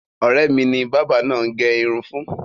Ọ̀rẹ́ mi ni bábà náà gẹ irun fún.